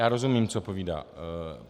Já rozumím, co povídá.